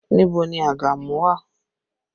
Níbo ni àgàmú wà?